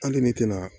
Hali ni tina